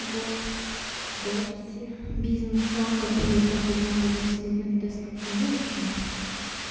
год записи бизнеса которые так бы вам были абсолютно недоступны ну в общем